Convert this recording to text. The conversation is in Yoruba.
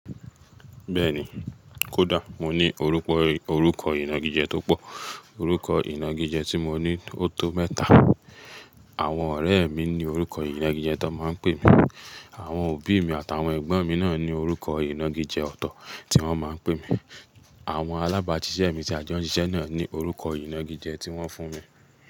Bẹ́ẹ̀ni, kódà mo ní orúkọ, orúkọ ìnagijẹ tó pọ̀. Orúkọ ìnagijẹ tí mo ní ó tó mẹ́ta. Àwọn ọ̀rẹ́ mi ní orúkọ ìnagijẹ tí wọ́n máa ń pè mi. Àwọn òbí mi àti àwọn ẹ̀gbọ́n mi náà ní orúkọ ìnagijẹ ọ̀tọ̀ tí wọ́n máa ń pè mi. Àwọn alábàáṣiṣẹ́ mi tí a jọ ń ṣiṣẹ́ náà ní orúkọ ìnagijẹ tí wọ́n fún mi.